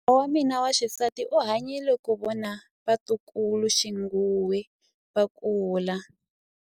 Kokwa wa mina wa xisati u hanyile ku vona vatukuluxinghuwe va kula.